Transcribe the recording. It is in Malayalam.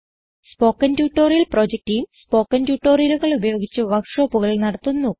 spoken tutorial project team spoken ട്യൂട്ടോറിയലുകൾ ഉപയോഗിച്ച് വർക്ക് ഷോപ്പുകൾ നടത്തുന്നു